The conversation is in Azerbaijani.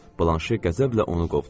Blanşe qəzəblə onu qovdu.